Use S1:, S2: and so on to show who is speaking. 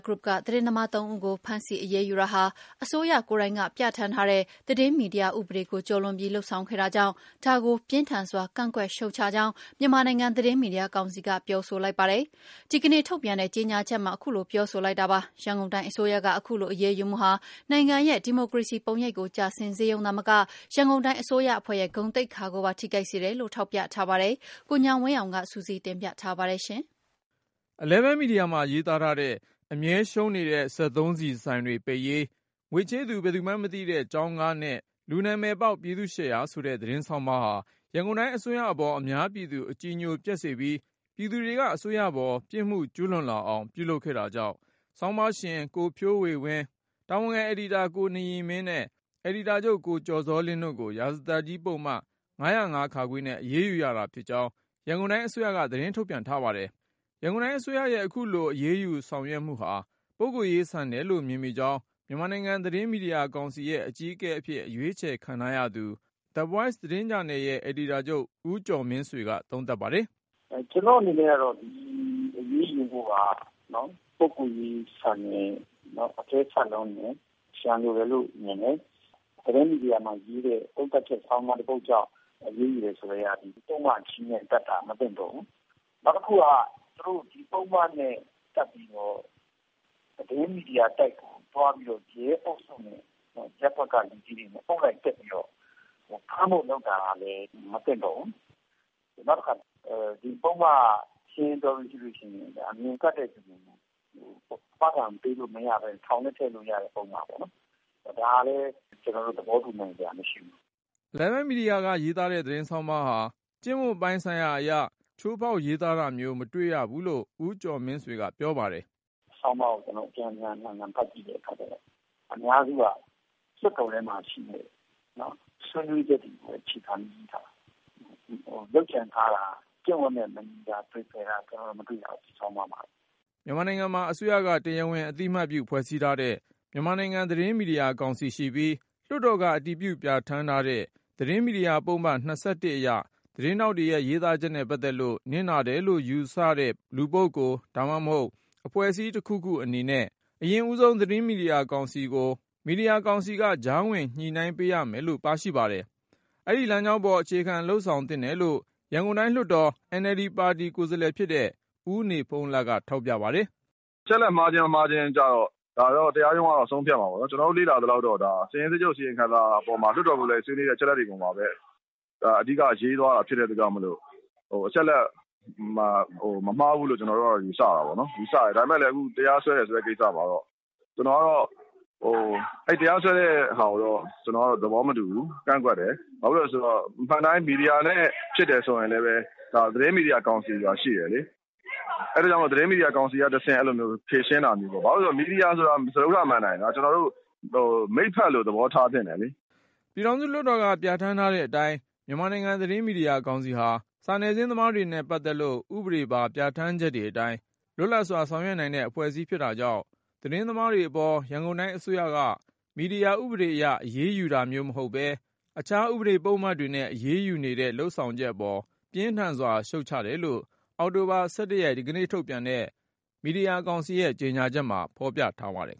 S1: Group က သတင်းသမား ၃ ဦးကို ဖမ်းဆီးအရေးယူတာဟာ အစိုးရကိုယ်တိုင်က ပြဌာန်းထားတဲ့ သတင်းမီဒီယာ ဥပဒေကို ကျော်လွန်ပြီး လုပ်ဆောင်ခဲ့တာကြောင့် ဒါကို ပြင်းထန်စွာ ကန့်ကွက်ရှုတ်ချကြောင်း မြန်မာနိုင်ငံ သတင်းမီဒီယာကောင်စီက ပြောဆိုလိုက် ပါတယ်။ ဒီကနေ့ ထုတ်ပြန်တဲ့ ကြေညာချက်မှာ ပြောဆိုလိုက်တာပါ။ ရန်ကုန်တိုင်းအစိုးရက အခုလို အရေးယူမှုဟာ နိုင်ငံရဲ့ဒီမိုကရေစီပုံရိပ်ကို ကျဆင်းစေရုံသာမက ရန်ကုန်တိုင်းအစိုးရအဖွဲ့ရဲ့ ဂုဏ်သိက္ခာကိုပါ ထိခိုက်စေတယ်လို့ ထောက်ပြထားပါတယ်။ ကိုဉာဏ်ဝင်းအောင်က စုစည်း တင်ပြထားပါတယ်။
S2: Eleven Media မှာရေးသားထားတဲ့ “အမြဲရှုံးနေတဲ့ စက်သုံးဆီဆိုင်တွေ ပိတ်ရေး၊ ငွေချေးသူ ဘယ်သူမှန်းမသိတဲ့ ကျောင်းကားနဲ့ လူနာမည် ပေါက် ပြည်သူ့ရှယ်ယာ” ဆိုတဲ့ သတင်းဆောင်းပါးဟာ ရန်ကုန်တိုင်းအစိုးရအပေါ် အများပြည်သူ အကြည်ညိုပျက်စေပြီး ပြည်သူတွေက အစိုးရပေါ် ပြစ်မှုကျူးလွန်လာအောင် ပြုလုပ်ခဲ့တာကြောင့် ဆောင်းပါရှင် ကိုဖြိုးဝေ ကိုဖြိုးဝေဝင်း၊ တာဝန်ခံအယ်ဒီတာ ကိုနရီမင်းနဲ့ အယ်ဒီတာချုပ် ကိုကျော်ဇောလင်းတို့ကို ရာဇသတ်ကြီးပုဒ်မ ၅၀၅ နဲ့ အရေးယူရတာဖြစ်ကြောင်း ရန်ကုန်တိုင်းအစိုးရက သတင်းထုတ်ပြန် ပါတယ်။ ရန်ကုန်တိုင်းအစိုးရရဲ့ အခုလိုအရေးယူဆောင်ရွက်မှုဟာ ပုဂ္ဂိုလ်ရေးဆန်တယ်လို့ မြင်ကြောင်း မြန်မာနိုင်ငံ သတင်းမီဒီယာကောင်စီရဲ့ အကြီးအကဲအဖြစ် အရွေးချယ်ခံထားရသူ The Voice သတင်းဂျာနယ်ရဲ့ အယ်ဒီတာချုပ် ဦးကျော်မင်းဆွေက သုံးသပ်ပါတယ်
S3: ။ "ကျနော့်အနေနဲ့ကတော့ ဒီအရေးယူမှုက ပုဂ္ဂိုလ်ရေးဆန်တယ်၊ နောက်အကဲဆတ်လွန်းတယ်၊ ရန်လိုတယ်လို့ မြင်တယ်။ သတင်းမီဒီယာမှာရေးတဲ့ သုံးသပ်ချက် ဆောင်းပါးတခုကြောင့် အရေးယူတယ်ဆိုတာက ဒီပုဒ်မကြီးနဲ့ တပ်တာ မသင့်တော်ဘူး။ နောက်တခုက သူတို့ ဒီပုဒ်မနဲ့ တပ်ပြီးတော့ သတင်းမီဒီယာတိုက်ကိုသွားပြီးတော့ ရဲအုပ်စုနဲ့ ရပ်ကွက်လူကြီးတွေနဲ့ လူအုပ်စုလိုက် သွားပြီးတော့ ဖမ်းဖို့လုပ်တာကလည်း မသင့်တော်ဘူး။ နောက်တခါက ဒီပုဒ်မနဲ့ ရှင်းရှင်းပြောမယ်ဆိုရင် အမြင်ကပ်တဲ့လူတွေကို အာမခံပေးလို့မရပဲ ထောင်ထဲထည့်လို့ရတဲ့ ပုဒ်မပေါ့နော် ဒါလည်း သဘောတူနိုင်စရာမရှိဘူး
S2: ။" Eleven Media ကရေးတဲ့ သတင်းဆောင်းပါးဟာ ကျင့်ဝတ်ပိုင်းဆိုင်ရာအရ ချိုးဖေါက်ရေးသားထားတာမျိုး မတွေ့ရဘူးလို့ ဦးကျော်မင်းဆွေက ပြောပါတယ်။
S3: "ဆောင်းပါးကို ကျနော်တို့ အပြန်ပြန်အလှန်လှန်ဖတ်ကြည့်ပြီးတဲ့အခါကျတော့ အများစုကလွှတ်တော်ထဲမှာရှိတဲ့ ဆွေးနွေးချက်တွေကိုပဲအခြေခံပြီးရေးထားတာ။ လုပ်ကြံထားတာ ကျင့်ဝတ်နဲ့ မညီတာ ကျနော်တို့မတွေ့ရဘူး။" မြ
S2: န်မာနိုင်ငံမှာ အစိုးရက တရားဝင်အသိအမှတ်ပြု ဖွဲ့စည်းထားတဲ့ မြန်မာနိုင်ငံ သတင်းမီဒီယာကောင်စီရှိပြီး လွှတ်တော်က အတည်ပြုပြဌာန်း ထားတဲ့ သတင်းမီဒီယာပုဒ်မ ၂၁ အရ သတင်းထောက်တွေရဲ့ ရေးသားချက်နဲ့ပတ်သက်လို့ နစ်နာတယ်လို့ယူဆတဲ့ လူပုဂ္ဂိုလ် အဖွဲ့အစည်း တခုခုအနေနဲ့ သတင်းမီဒီယာကောင်စီကို ကနဦး တိုင်ကြားရမှာဖြစ်ပြီး မီဒီယာကောင်စီက ကြားဝင်ညှိနှိုင်းပေးရမယ်လို့ ပြဌာန်းထားပါတယ်။ အဲဒီလမ်းကြောင်းပေါ် အခြေခံ လုပ်ဆောင်သင့်တယ်လို့ ရန်ကုန်တိုင်းလွှတ်တော် NLDပါတီ ကိုယ်စားလှယ်ဖြစ်တဲ့ ဦးနေဖုန်းလတ်က ထောက်ပြပါတယ်။ "အချက်အလက် မှားခြင်းမမှားခြင်းကျတော့
S4: ဒါကတော့ တရားရုံးက ဆုံးဖြတ်မှာပေါ့နော်။ ကျနော်တို့လေ့လာသလောက်တော့ ဒါဟာ စာရင်းစစ်ချုပ်အစီရင်ခံစာပေါ်မှာ လွှတ်တော်ကိုယ်စားလှယ်တွေဆွေးနွေးတဲ့ အချက်အလက်တွေအပေါ်မှာ အဓိက ရေးသွားတာဖြစ်တဲ့အတွက်ကြောင့် အချက်အလက်တော့ မမှားဘူးလို့ ကျနော်တို့ ယူဆတာပေါ့နော်။ ဒါပေမယ့် ဒီလို တရားစွဲတယ်ဆိုတဲ့ ကိစ္စမှာတော့ ကျနော်ကတော့ တရားဆွဲတာကိုတော့ သဘောမတူဘူး ၊ ကန့်ကွက်တယ် ဘာဖြစ်လို့လဲဆိုတော့ အမှန်အတိုင်း မီဒီယာနဲ့ ဖြစ်တယ်ဆိုရင်လည်း သတင်းမီဒီယာကောင်စီ ဆိုတာရှိတယ်လေ။ အဲဒီအတွက်ကြောင့် သတင်းမီဒီယာကောင်စီကနေတဆင့် ဖြေရှင်းတာမျိုးပေါ့ ။ ဘာဖြစ်လို့လဲဆိုတော့ မီဒီယာဆိုတာက စတ္ထမဏ္ဍိုင် မိတ်ဖက်လိုသဘောထားသင့်တယ်လေ။
S2: " ပြည်ထောင်စုလွှတ်တော်က ပြဌာန်းထားတဲ့အတိုင်း မြန်မာနိုင်ငံ သတင်းမီဒီယာကောင်စီဟာ စာနယ်ဇင်းသမားတွေနဲ့ပတ်သက်လို့ ဥပဒေပါ ပြဌာန်းချက်တွေအတိုင်း လွတ်လပ်စွာဆောင်ရွက်နိုင်တဲ့ အဖွဲ့အစည်းဖြစ်တာကြောင့် သတင်းသမားတွေပေါ် ရန်ကုန်တိုင်းအစိုးရက မီဒီယာ ဥပဒေအရ အရေးယူတာမျိုးမဟုတ်ပဲ အခြားဥပဒေပုဒ်မတွေနဲ့ အရေးယူနေတဲ့လုပ်ဆောင်ချက်အပေါ် ပြင်းထန်စွာရှုတ်ချတယ်လို့ အောက်တိုဘာ ၁၁ ရက်၊ ဒီကနေ့ထုတ်ပြန်တဲ့ မီဒီယာကောင်စီရဲ့ ကြေညာချက်မှာ ဖေါ်ပြထားပါတယ်